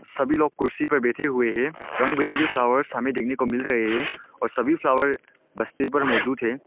सभी लोग कुर्सी पर बैठे हुए हैं रंग बिरंगी फ्लावर्स हमें देखने को मिल रहे हैं और सभी फ्लावर बस्ती पर मौजूद है।